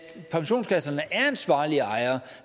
pensionskasserne er ansvarlige ejere